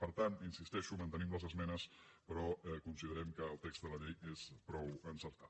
per tant hi insisteixo mantenim les esmenes però considerem que el text de la llei és prou encertat